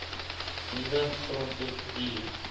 nuwe grondwet hier